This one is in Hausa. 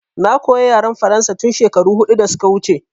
Na koya yaren faransa tun shekaru huɗu da suka wuce